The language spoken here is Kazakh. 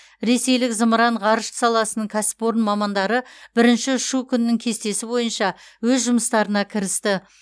ресейлік зымыран ғарыш саласының кәсіпорын мамандары бірінші ұшу күнінің кестесі бойынша өз жұмыстарына кірісті